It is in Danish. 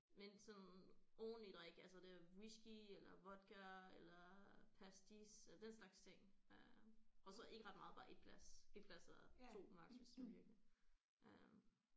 Men sådan ordentlig drik altså det er whiskey eller vodka eller pastis og den slags ting øh og så ikke ret meget bare 1 glas 1 glas og 2 maks hvis man virkelig øh